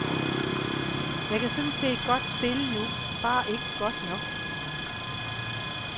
Jeg kan sådan set godt spille nu, bare ikke godt nok.